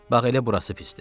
Bax elə burası pisdir.